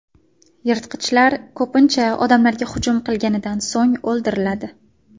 Yirtqichlar, ko‘pincha, odamlarga hujum qilganidan so‘ng o‘ldiriladi.